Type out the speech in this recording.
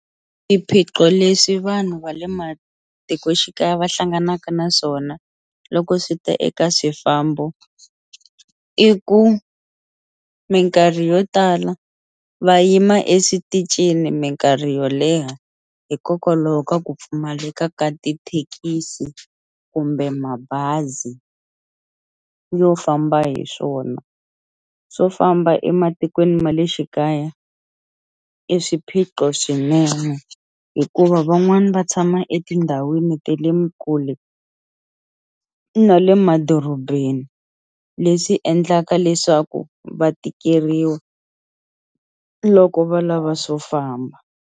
Swiphiqo leswi vanhu va le matikoxikaya va hlanganaka na swona loko swi ta eka swifambo i ku mikarhi yo tala va yima eswitichini mikarhi yo leha hikokwalaho ka ku pfumaleka ka tithekisi kumbe mabazi yo famba hi swona swo famba ematikweni ma le xikaya i swiphiqo swinene hikuva van'wani va tshama etindhawini ta le kule na le madorobeni leswi endlaka leswaku va tikeriwa loko va lava swo famba.